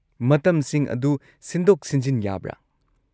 ꯃꯇꯝꯁꯤꯡ ꯑꯗꯨ ꯁꯤꯟꯗꯣꯛ-ꯁꯤꯟꯖꯤꯟ ꯌꯥꯕ꯭ꯔꯥ?